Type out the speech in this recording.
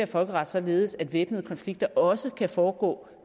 folkeret således at væbnede konflikter også kan foregå